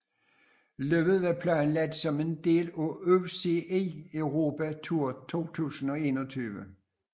Løbet var planlagt som en del af UCI Europe Tour 2021